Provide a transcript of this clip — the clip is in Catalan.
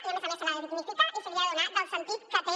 i a més a més se l’ha de dignificar i se li ha de donar el sentit que té